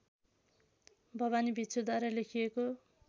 भवानी भिक्षुद्वारा लेखिएको